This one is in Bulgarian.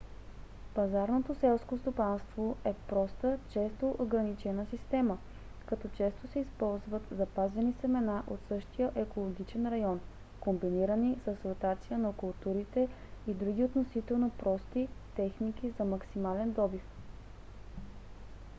пазарното селско стопанство е проста често органична система като често се използват запазени семена от същия екологичен район комбинирани с ротация на културите и други относително прости техники за максимален добив